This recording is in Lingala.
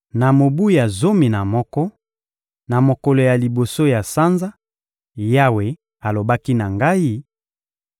Na mobu ya zomi na moko, na mokolo ya liboso ya sanza, Yawe alobaki na ngai: